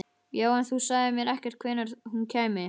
Já, en þú sagðir mér ekkert hvenær hún kæmi.